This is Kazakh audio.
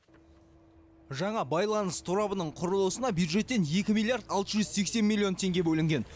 жаңа байланыс торабының құрылысына бюджеттен екі миллиард алты жүз сексен миллион тенге бөлінген